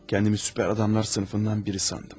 Özümü super adamlar sinfindən biri sandım.